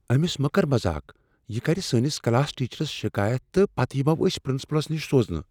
أمس مہ کر مزاق ۔ یہِ کر سٲنس کلاس ٹیچرس شکایت تہٕ پتہٕ یمو أسۍ پرنسپلس نِش سوزنہٕ۔